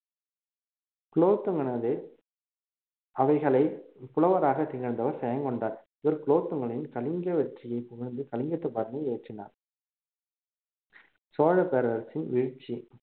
குலோத்துங்கனது அவைகளை புலவராகத் திகழ்ந்தவர் ஜெயங்கொண்டார் இவர் குலோத்துங்கனின் கலிங்க வெற்றியை புகழ்ந்து கலிங்கத்துப் பரணி இயற்றினார் சோழப் பேரரசன் வீழ்ச்சி